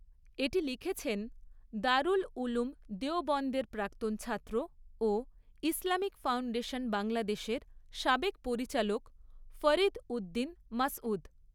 এটি লিখেছেন দারুল উলুম দেওবন্দের প্রাক্তন ছাত্র ও ইসলামিক ফাউন্ডেশন বাংলাদেশের সাবেক পরিচালক ফরীদ উদ্দীন মাসঊদ।